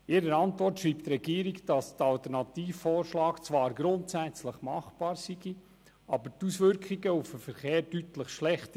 In ihrer Antwort schreibt die Regierung, der Alternativvorschlag sei zwar grundsätzlich machbar, aber die Auswirkungen auf den Verkehr wären deutlich schlechter.